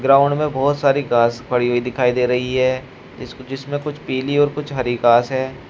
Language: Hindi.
ग्राउंड में बहुत सारी घास पड़ी हुई दिखाई दे रही है। जिसमें कुछ पीली और कुछ हरि घास है।